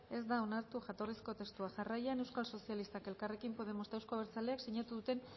ez da onartu jatorrizko testua jarraian euskal sozialistak elkarrekin podemos eta euzko abertzaleak sinatu duten